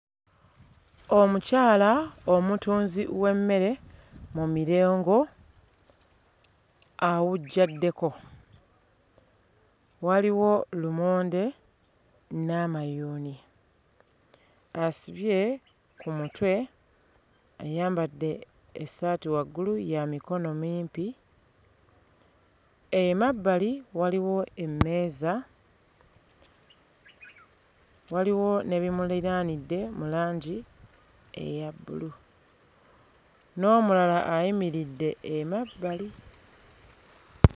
Omukyala omutunzi w'emmere mu mirengo awujjaddeko waliwo lumonde n'amayuuni ng'asibye ku mutwe ayambadde essaati waggulu ya mikono mimpi emabbali waliwo emmeeza waliwo n'ebimuliraanidde mu langi eya bbulu n'omulala ayimiridde emabbali.